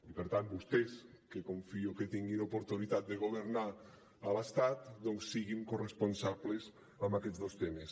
i per tant vostès que confio que tinguin oportunitat de governar a l’estat doncs siguin corresponsables en aquests dos temes